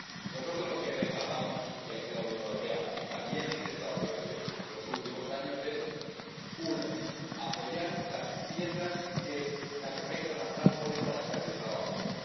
Nosotros lo que reclamamos —y lo que la Unión Europea también ha intentado durante los últimos años— es uno, apoyar las piezas que la comunidad internacional pone para estabilizar la zona